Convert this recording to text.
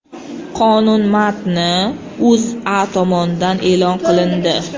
Qonun matni O‘zA tomonidan e’lon qilindi .